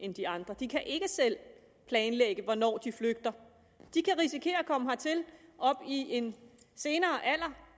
end de andre de kan ikke selv planlægge hvornår de flygter de kan risikere at komme hertil i en senere alder